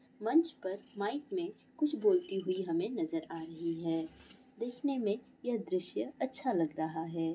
मंच पर माइक में कुछ बोलती हुई हमे नजर आ रही है दिखने में यह दृश्य अच्छा लग रहा है।